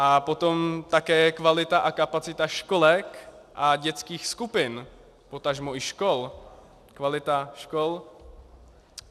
A potom také kvalita a kapacita školek a dětských skupin, potažmo i škol, kvalita škol.